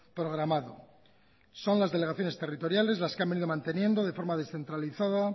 programado son las delegaciones territoriales las que han venido manteniendo de forma descentralizada